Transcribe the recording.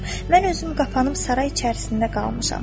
Mən özüm qapanıb saray içərisində qalmışam.